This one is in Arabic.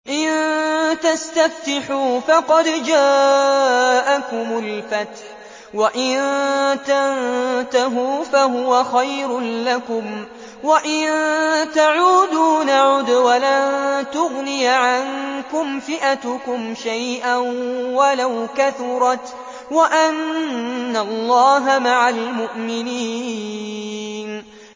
إِن تَسْتَفْتِحُوا فَقَدْ جَاءَكُمُ الْفَتْحُ ۖ وَإِن تَنتَهُوا فَهُوَ خَيْرٌ لَّكُمْ ۖ وَإِن تَعُودُوا نَعُدْ وَلَن تُغْنِيَ عَنكُمْ فِئَتُكُمْ شَيْئًا وَلَوْ كَثُرَتْ وَأَنَّ اللَّهَ مَعَ الْمُؤْمِنِينَ